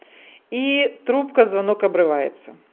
и трубка звонок обрывается